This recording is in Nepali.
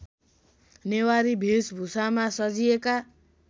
नेवारी भेषभुषामा सजिएका